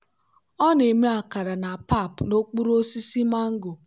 ọ na-eme akara na pap n'okpuru osisi mango.